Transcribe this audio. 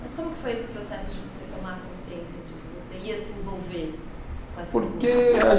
Mas como que foi esse processo de você tomar a consciência de que você ia se envolver com essas coisas? Porque a gente...,